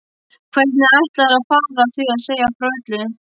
Hvernig ætlarðu að fara að því að segja frá öllu?